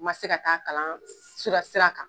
U ma se ka taa kalan si ka sira kan.